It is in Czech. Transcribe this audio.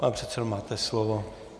Pane předsedo, máte slovo.